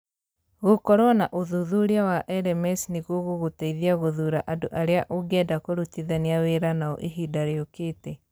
Gũkorũo na ũthuthuria wa LMS nĩ gũgũgũteithia gũthuura andũ arĩa ũngĩenda kũrutithania wĩra nao ihinda rĩũkĩte.